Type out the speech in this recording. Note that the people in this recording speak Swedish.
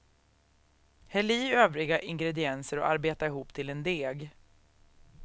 Häll i övriga ingredienser och arbeta ihop till en deg.